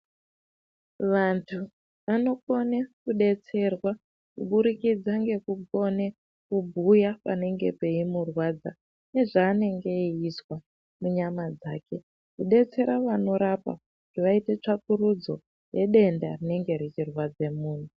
Vantu vanokone kudetserwa kubudikidza ngekukone kubhuya panenge peimurwadza nezvaanenge eizwa munyama dzake kudetsera vanorapa vaite tsvakurudzo yedenda rinenge richirwadze muntu.